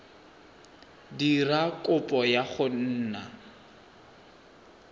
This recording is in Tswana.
dira kopo ya go nna